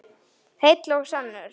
Heill og sannur.